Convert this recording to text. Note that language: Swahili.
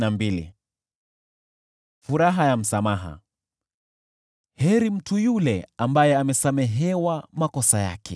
Heri mtu yule ambaye amesamehewa makosa yake, ambaye dhambi zake zimefunikwa.